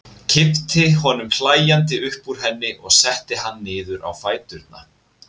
Kippti honum hlæjandi upp úr henni og setti hann niður á fæturna.